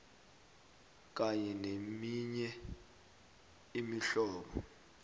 kanye neminye imihlobo